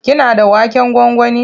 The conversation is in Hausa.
Kina da waken gwangwani?